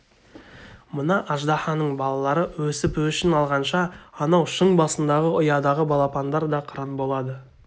мына аждаһаның балалары өсіп өшін алғанша анау шың басындағы ұядағы балапандар да қыран болады